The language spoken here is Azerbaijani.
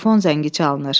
Telefon zəngi çalınır.